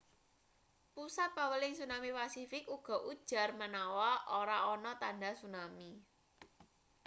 pusat paweling tsunami pasifik uga ujar manawa ora ana tandha tsunami